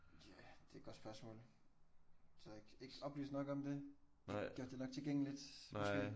Ja det er et godt spørgsmål. Der er ikke ikke oplyst nok om det? De har ikke gjort det nok tilgængeligt? Måske?